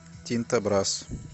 тинто брасс